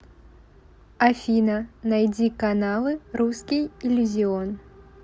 афина найди каналы русский иллюзион